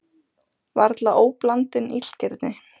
Varla óblandin illgirni?